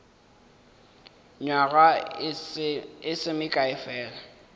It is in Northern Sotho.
nywaga e se mekae fela